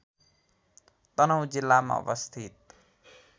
तनहुँ जिल्लामा अवस्थित